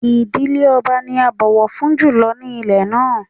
Ìdílé ọba ni a bọ̀wọ̀ fún jù lọ ní ilẹ̀ náà